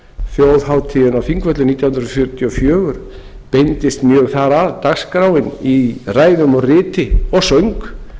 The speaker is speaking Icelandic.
þjóðhátíðin á þingvöllum nítján hundruð fjörutíu og fjögur beindist mjög þar að dagskráin í ræðum og riti og söng